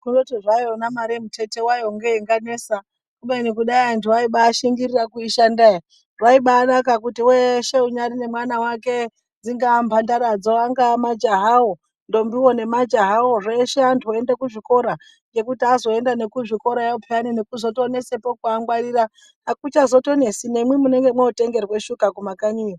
Kundoti zvayo mare muthetho wayo ngeinganesa, kubeni kudai anthu aibaashingirira kuishanda ere, zvaibaanaka kuti weshe unyari nemwana wake dzingaa mphandara dzo, angaa majaha wo, ndombiwo ne majahawo, zveshe anthu oenda kuzvikora. Ngekuti azoenda nekuzvikorayo pheyani nekutozonesapo kuangwarira, akutozonesi, nemwi munenge mwootengerwa shuka kumakanyiyo.